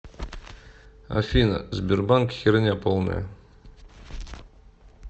афина сбербанк херня полная